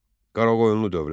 Qaraqoyunlu dövləti.